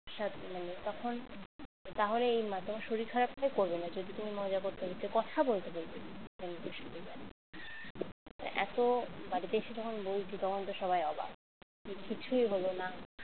সাথে মানে তখন তাহলে এই মা তোমার শরীর খারাপটা করবে না যদি তুমি মজা করতে করতে কথা বলতে বলতে বন্ধুদের সাথে যাও এত বাড়িতে এসে যখন বলছি তখন তো সবাই অবাক কিছুই হলো না